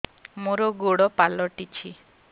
ମୋର ଗୋଡ଼ ପାଲଟିଛି